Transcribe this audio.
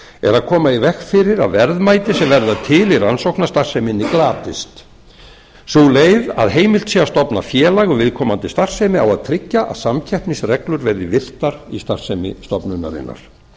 að koma í veg fyrir að verðmæti sem verða til í rannsóknastarfseminni glatist sú leið að heimilt sé að stofna félag um viðkomandi starfsemi á að tryggja að samkeppnisreglur verði virtar í starfsemi stofnunarinnar við